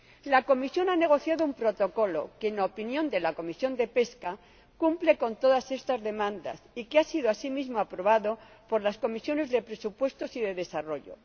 La Comisión ha negociado un Protocolo que, en opinión de la Comisión de Pesca, cumple todas estas demandas, y que ha sido, asimismo, aprobado por la Comisión de Presupuestos y la Comisión de Desarrollo.